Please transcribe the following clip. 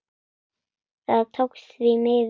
Það tókst, því miður.